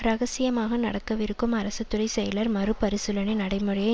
இரகசியமாக நடக்கவிருக்கும் அரசு துறை செயலர் மறுபரிசீலனை நடைமுறையை